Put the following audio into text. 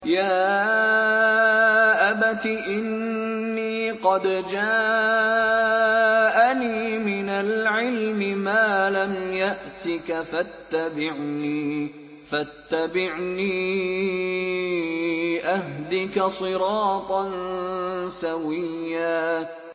يَا أَبَتِ إِنِّي قَدْ جَاءَنِي مِنَ الْعِلْمِ مَا لَمْ يَأْتِكَ فَاتَّبِعْنِي أَهْدِكَ صِرَاطًا سَوِيًّا